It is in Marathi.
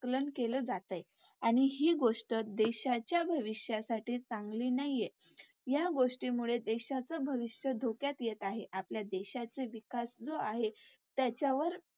आकलन केले जातंय आणि हि गोष्ट देशाच्या भविष्यासाठी चांगली नाहीये. या गोष्टीमुळे देशाचे भविष्य धोक्यात येत आहे. आपल्या देशाचा विकास जो आहे त्याच्यावर